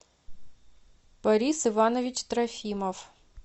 борис иванович трофимов